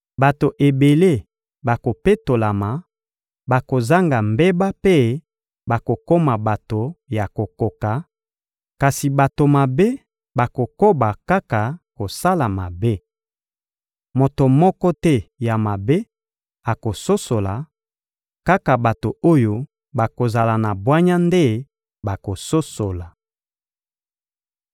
Bato ebele bakopetolama, bakozanga mbeba mpe bakokoma bato ya kokoka; kasi bato mabe bakokoba kaka kosala mabe. Moto moko te ya mabe akososola, kaka bato oyo bakozala na bwanya nde bakososola.